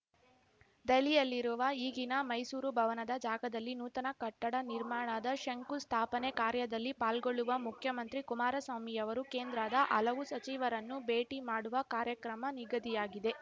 ದೆಹಲಿಯಲ್ಲಿರುವ ಈಗಿನ ಮೈಸೂರು ಭವನದ ಜಾಗದಲ್ಲಿ ನೂತನ ಕಟ್ಟಡ ನಿರ್ಮಾಣದ ಶಂಕು ಸ್ಥಾಪನೆ ಕಾರ್ಯದಲ್ಲಿ ಪಾಲ್ಗೊಳ್ಳುವ ಮುಖ್ಯಮಂತ್ರಿ ಕುಮಾರಸ್ವಾಮಿಯವರು ಕೇಂದ್ರದ ಹಲವು ಸಚಿವರನ್ನು ಭೇಟಿ ಮಾಡುವ ಕಾರ್ಯಕ್ರಮ ನಿಗದಿಯಾಗಿದೆ